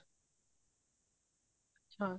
ਹਾਂ